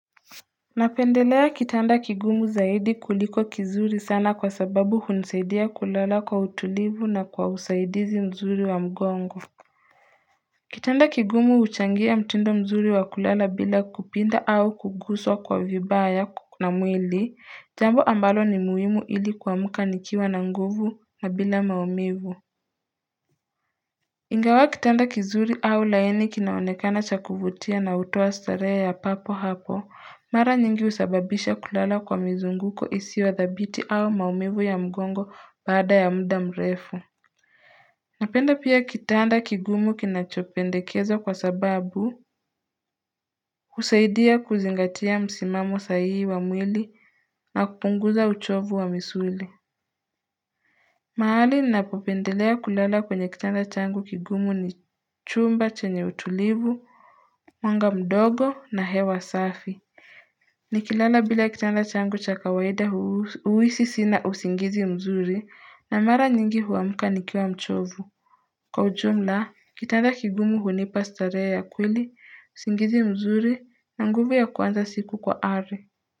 Napendelea kitanda kigumu zaidi kuliko kizuri sana kwa sababu hunisaidia kulala kwa utulivu na kwa usaidizi mzuri wa mgongo Kitanda kigumu huchangia mtindo mzuri wa kulala bila kupinda au kuguswa kwa vibaya na mwili jambo ambalo ni muhimu ili kuamuka nikiwa na nguvu na bila maumivu Ingawa kitanda kizuri au laini kinaonekana cha kuvutia na utowa starehe ya papo hapo, mara nyingi usababisha kulala kwa mizunguko isio dhabiti au maumivu ya mgongo baada ya mda mrefu. Napenda pia kitanda kigumu kinachopendekeza kwa sababu, usaidia kuzingatia msimamo sahihi wa mwili na kupunguza uchovu wa misuli. Mahali ninapopendelea kulala kwenye kitanda changu kigumu ni chumba chenye utulivu, Mwanga mdogo na hewa safi, nikilala bila kitanda changu cha kawaida huwisi sina usingizi mzuri na mara nyingi huwamuka nikiwa mchovu. Kwa ujumla, kitanda kigumu hunipa starehe ya kweli, usingizi mzuri na nguvu ya kuanza siku kwa ari.